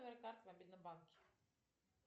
карта в мобильном банке